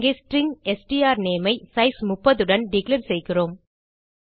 இங்கே ஸ்ட்ரிங் strnameஐ சைஸ் 30 உடன் டிக்ளேர் செய்கிறோம்